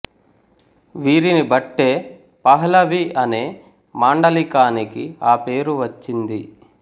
వీరిని బట్టే పహ్లవి అనే మాండలీకానికి ఆ పేరు వచ్చింది